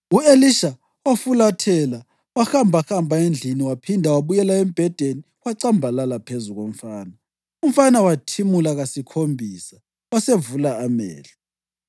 U-Elisha wafulathela wahambahamba endlini waphinda wabuyela embhedeni wacambalala phezu komfana. Umfana wathimula kasikhombisa wasevula amehlo.